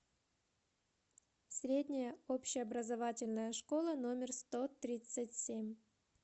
средняя общеобразовательная школа номер сто тридцать семь